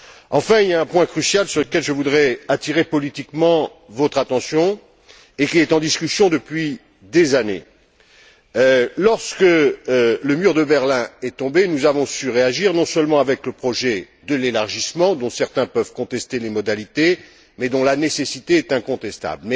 Enfin, il y a un point crucial sur lequel je voudrais attirer politiquement votre attention et qui est en discussion depuis des années. Lorsque le mur de Berlin est tombé, nous avons su réagir non seulement avec le projet de l'élargissement, dont certains peuvent contester les modalités, mais dont la nécessité est incontestable.